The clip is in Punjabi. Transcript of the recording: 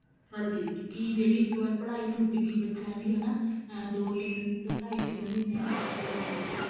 ਹਾਂਜੀ ਕੀ ਜਿਹੜੀ ਇੱਕ ਵਾਰ ਪੜ੍ਹਾਈ ਛੁਟ ਗਈ ਬੱਚਿਆਂ ਦੀ ਹਨਾ ਦੋ ਤਿੰਨ ਢਾਈ ਤਿੰਨ ਮਹੀਨੇ ਇਸ ਤਰ੍ਹਾਂ ਹੀ ਰਹੇ ਬੱਚੇ